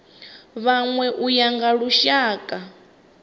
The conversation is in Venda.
vhanwe u ya nga lushaka